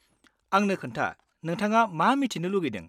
आंनो खोन्था, नोंथाङा मा मिथिनो लुगैदों?